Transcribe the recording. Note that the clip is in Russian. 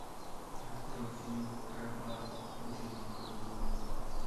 открой фильм крабат ученик колдуна